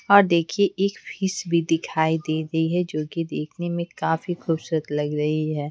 और देखिए एक फिश भी दिखाई दे रही है जो कि देखने में काफी खूबसूरत लग रही --